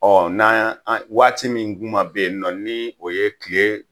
n'a yan an waati min kuma bɛ yen nɔ, ni o ye tile